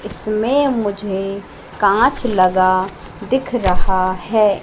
इसमें मुझे कांच लगा दिख रहा है।